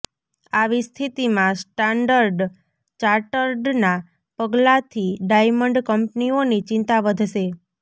આવી સ્થિતિમાં સ્ટાન્ડર્ડ ચાર્ટર્ડના પગલાથી ડાયમંડ કંપનીઓની ચિંતા વધશે